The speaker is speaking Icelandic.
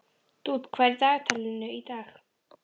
Dúnn, hvað er í dagatalinu í dag?